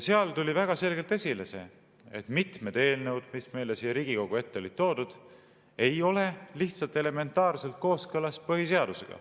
Seal tuli väga selgelt esile, et mitmed eelnõud, mis siia Riigikogu ette olid toodud, ei ole lihtsalt elementaarselt kooskõlas põhiseadusega.